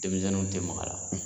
Denmisɛnninw tɛ maga a la.